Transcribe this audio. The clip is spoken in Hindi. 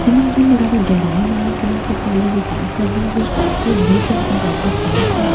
स्विमिंग पूल में ज्यादा गेहेड़ाई नहीं है स्विमिंग पूल के अंदर जो टाइल्स लगी हुई है वह ब्लू कलर कि डॉट डॉट टाइल्स है स्विमिंग --